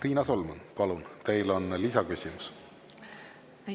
Riina Solman, palun, teil on lisaküsimus!